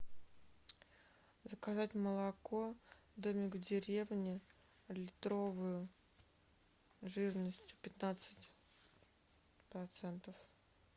заказать молоко домик в деревне литровую жирностью пятнадцать процентов